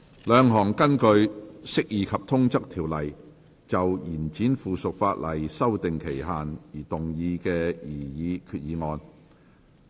兩項根據《釋義及通則條例》就延展附屬法例的修訂期限而動議的擬議決議案。